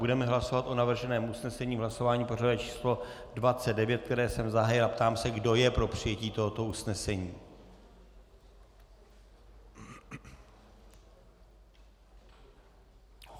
Budeme hlasovat o navrženém usnesení v hlasování pořadové číslo 29, které jsem zahájil, a ptám se, kdo je pro přijetí tohoto usnesení.